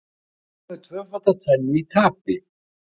Hlynur með tvöfalda tvennu í tapi